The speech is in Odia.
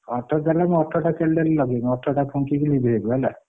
ଅଠର ଚାଲଲାଣି ମୁଁ ଅଠର ଟା candle ଲଗେଇବି ଫୁଙ୍କି କି ଲିଭେଇବୁ ହେଲା।